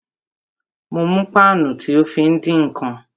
Mo mú páànù tí o fí ń dín ǹkan